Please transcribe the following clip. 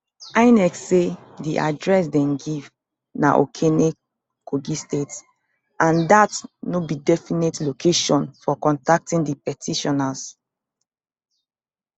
inec say di address dem give na okene kogi state and dat no be definite location for contacting di petitioners